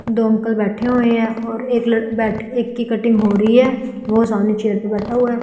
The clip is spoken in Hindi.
दो अंकल बैठे हुए हैं और एक लड़का एक की कटिंग हो रही है वो सामने चेयर पे बैठा हुआ है।